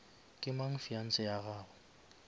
ke mang fiance ya gago